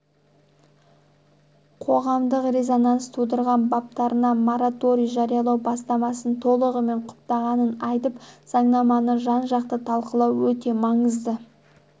қоғамдық резонанс тудырған баптарына мораторий жариялау бастамасын толығымен құптағанын айтып заңнаманы жан-жақты талқылау өте маңызды